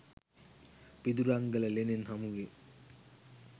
පිදුරංගල ලෙනෙන් හමුවේ.